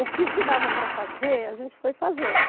O que se dava para fazer, a gente foi fazendo.